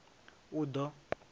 uḓo